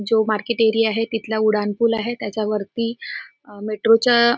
जो market area आहे तिथला उडान पुल आहे त्याच्यावरती अह मेट्रोच्या --